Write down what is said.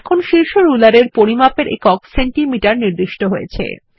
এখন শীর্ষ রুলার এর পরিমাপের একক সেনটিমিটার নির্দিষ্ট হয়েছে